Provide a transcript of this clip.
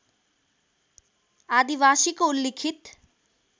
आदिवासीको उल्लिखित